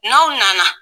N'aw nana